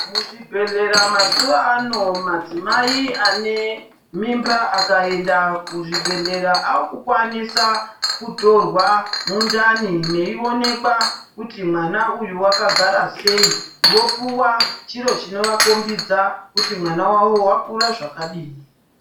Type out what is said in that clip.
Muzvibhedhlera mazuwa ano, madzimai ane mimba akaenda kuzvibhedhlera akukwanisa kutorwa mundani meionekwa kuti mwana uyu wakagara sei vopuwa chiro chinovako mbidza kuti mwana wavo wakura zvakadini.